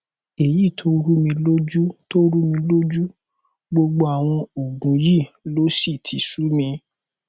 èyí tó rúmi lójú tó rúmi lójú gbogbo àwọn òògùn yìí ló sì ti sú mi